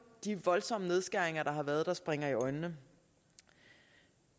de voldsomme nedskæringer der har været der springer i øjnene